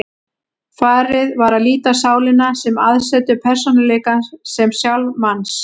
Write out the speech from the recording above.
Farið var að líta á sálina sem aðsetur persónuleikans, sem sjálf manns.